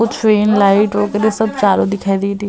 कुछ van light सब चारों दिखाई दे रही है।